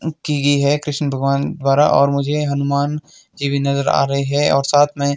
की गई है कृष्ण भगवान द्वारा और मुझे हनुमान जी भी नजर आ रहे हैं और साथ में--